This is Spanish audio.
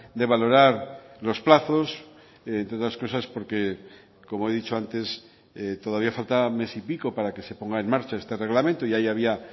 de valorar los plazos entre otras cosas porque como he dicho antes todavía falta mes y pico para que se ponga en marcha este reglamento y ahí había